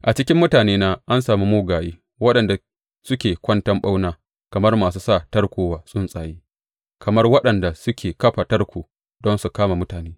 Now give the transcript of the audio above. A cikin mutanena an sami mugaye waɗanda suke kwanton ɓauna kamar masu sa tarko wa tsuntsaye kamar waɗanda suke kafa tarko don su kama mutane.